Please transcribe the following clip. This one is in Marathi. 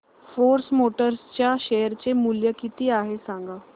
फोर्स मोटर्स च्या शेअर चे मूल्य किती आहे सांगा